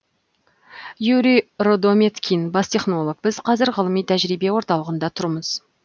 юрий рудометкин бас технолог біз қазір ғылыми тәжірибе орталығында тұрмыз